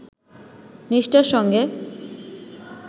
নিষ্ঠার সঙ্গে